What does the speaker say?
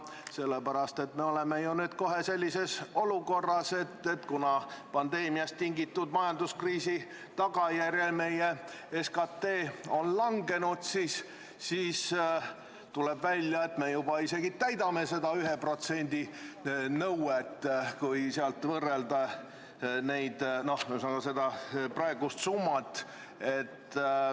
Seda sellepärast, et me oleme ju nüüd kohe sellises olukorras, kus pandeemiast tingitud majanduskriisi tagajärjel on meie SKT langenud, ja tuleb välja, et me juba isegi täidame seda 1% nõuet, kui vaadata praegust summat.